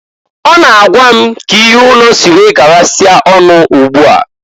Ọ na-agwa k'ihe ụnọ si wee garasịa ọnụ ụgbụ a.